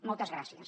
moltes gràcies